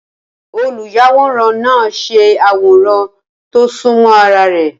Olùyàwòrán náà ṣe àwòrán tó súnmọ́ ara rẹ̀.